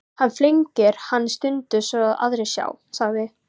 Hann flengir hann stundum svo aðrir sjá, sagði